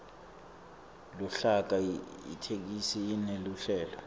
luhlaka itheksthi ineluhlelo